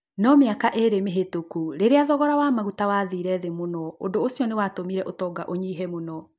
No mĩaka ĩĩrĩ mĩvĩtũku, rĩrĩa thogora wa maguta wathire thi mũno, ũndũ ũcio nĩ watũmire ũtongata ũnyive mũno.